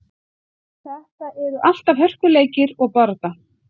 Þetta eru alltaf hörkuleikir og barátta.